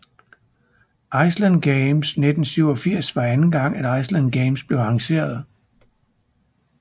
Island Games 1987 var anden gang at Island Games blev arrangeret